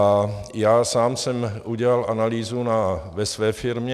A já sám jsem udělal analýzu ve své firmě.